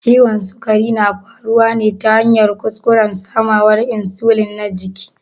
Ciwon sukari na faruwa ne ta hanyar kuskuren samawar insulin na jiki.